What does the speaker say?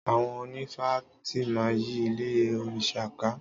Àwon Ònífà tímà yí Ìlé órisá kà.